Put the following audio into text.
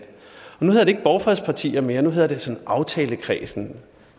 nu hedder det ikke borgfredspartier mere nu hedder det aftalekredsen